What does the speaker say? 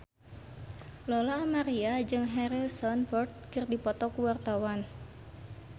Lola Amaria jeung Harrison Ford keur dipoto ku wartawan